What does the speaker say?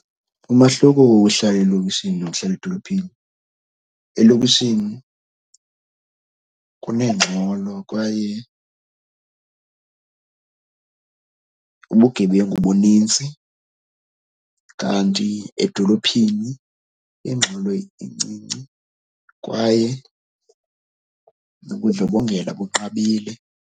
Umahluko wohlala elokishini nokuhlala edolophini, elokishini kunengxolo kwaye ubugebengu bunintsi. Kanti edolophini ingxolo incinci kwaye ubundlobongela bunqabile.